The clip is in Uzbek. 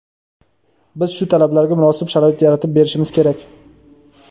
Biz shu talablarga munosib sharoit yaratib berishimiz kerak.